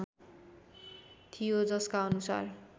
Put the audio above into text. थियो जसका अनुसार